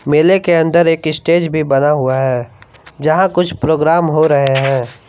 मेले के अंदर एक स्टेज भी बना हुआ है जहां कुछ प्रोग्राम हो रहे हैं।